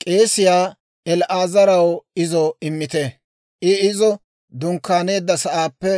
K'eesiyaa El"aazaraw izo immite; I izo dunkkaaneedda sa'aappe